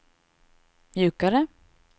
mjukare